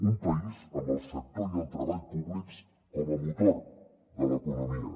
un país amb el sector i el treball públics com a motor de l’economia